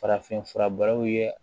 Farafinf fura baraw ye